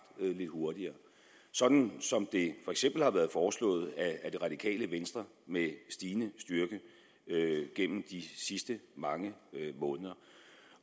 lidt hurtigere sådan som det for eksempel har været foreslået af det radikale venstre med stigende styrke gennem de sidste mange måneder